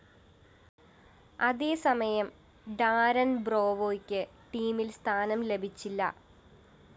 അതേസമയം ഡാരന്‍ ബ്രാവോയ്ക്ക് ടീമില്‍ സ്ഥാനം ലഭിച്ചില്ല